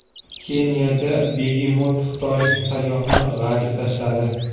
Keniyada begemot xitoylik sayyohni g‘ajib tashladi.